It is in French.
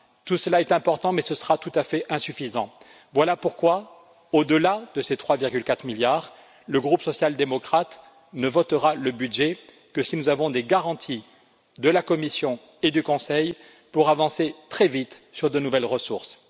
Tout cela est important, mais ce sera tout à fait insuffisant. Voilà pourquoi, au delà de ces 3,4 milliards, le groupe social démocrate ne votera le budget que si nous avons des garanties de la Commission et du Conseil pour avancer très vite sur de nouvelles ressources.